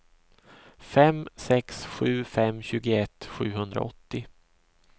fem sex sju fem tjugoett sjuhundraåttio